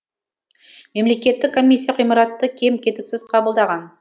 мемлекеттік комиссия ғимаратты кем кетіксіз қабылдаған